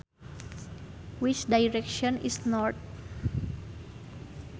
Which direction is north